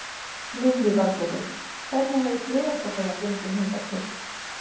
Lillý Valgerður: Hvernig hefur flugeldasala gengið hingað til?